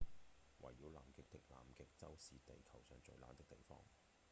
圍繞南極的南極洲是地球上最冷的地方